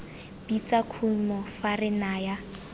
bitsa kumo fa re naya